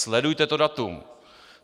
Sledujte to datum.